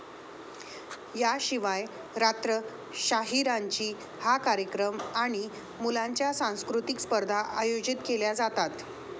याशिवाय, 'रात्र शाहीरांची' हा कार्यक्रम आणि मुलांच्या संस्कृतिक स्पर्धा अयोजित केल्या जातात.